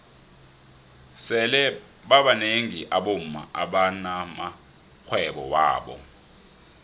sele babnengi abomma abana maxhwebo wabo